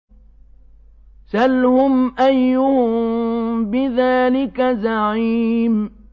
سَلْهُمْ أَيُّهُم بِذَٰلِكَ زَعِيمٌ